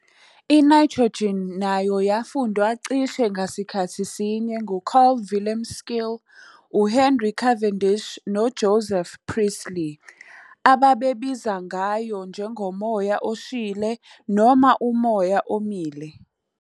I-nitrogen nayo yafundwa cishe ngasikhathi sinye nguCarl Wilhelm Scheele, uHenry Cavendish, noJoseph Priestley, ababebiza ngayo njengomoya oshile noma umoya omile.